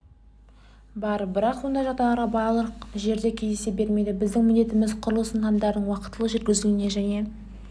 бар бірақ ондай жағдайлар барлық жерде кездесе бермейді біздің міндетіміз құрылыс нысандарының уақтылы жүргізілуін және